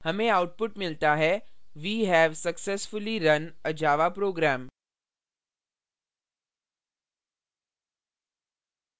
हमें output मिलता है we have successfully run a java program